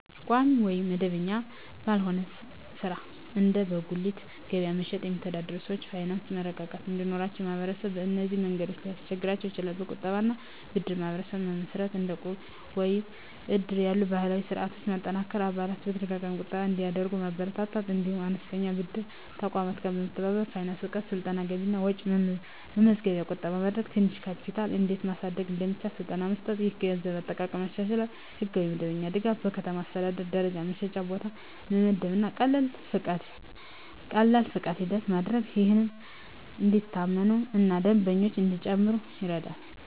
ቋሚ ወይም መደበኛ ባልሆነ ሥራ (እንደ በጉሊት ገበያ መሸጥ) የሚተዳደሩ ሰዎች የፋይናንስ መረጋጋት እንዲኖራቸው ማህበረሰቡ በእነዚህ መንገዶች ሊያግዛቸው ይችላል፦ የቁጠባ እና ብድር ማህበራት መመስረት – እንደ ዕቁብ ወይም እድር ያሉ ባህላዊ ስርዓቶችን በማጠናከር አባላት በተደጋጋሚ ቁጠባ እንዲያደርጉ ማበረታታት። እንዲሁም ከአነስተኛ ብድር ተቋማት ጋር መተባበር። የፋይናንስ እውቀት ስልጠና – ገቢና ወጪ መመዝገብ፣ ቁጠባ ማድረግ፣ ትንሽ ካፒታል እንዴት ማሳደግ እንደሚቻል ስልጠና መስጠት። ይህ የገንዘብ አጠቃቀምን ያሻሽላል። የሕጋዊ መደበኛነት ድጋፍ – በከተማ አስተዳደር ደረጃ የመሸጫ ቦታ መመደብ እና ቀላል ፈቃድ ሂደት ማድረግ፣ ይህም እንዲታመኑ እና ደንበኞች እንዲጨምሩ ይረዳል።